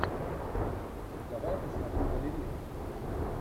давай я посмотрю балерин